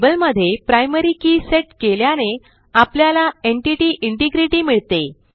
टेबलमध्ये primary key set केल्याने आपल्याला एन्टिटी इंटिग्रिटी मिळते